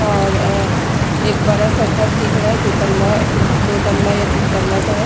और अ एक बड़ा सा घर दिख रहा है दो तल्ला तीन दो तल्ला या तीन तल्ला का है।